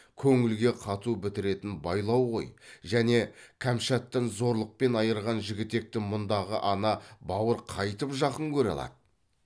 көңілге қату бітіретін байлау ғой және кәмшаттан зорлықпен айырған жігітекті мұндағы ана бауыр қайтіп жақын көре алады